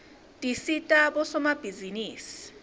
tisita bosomabhizinisi